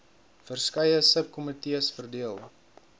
verskeie subkomitees verdeel